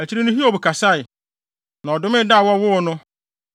Akyiri no Hiob kasae, na ɔdomee da a wɔwoo no.